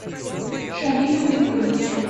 шамилю григорьевичу